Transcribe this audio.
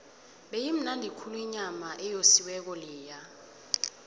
beyimnandi khulu inyama eyosiweko leya